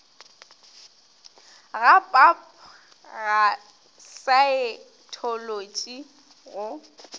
ga pap ga saetholotši go